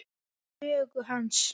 Upphaf sögu hans.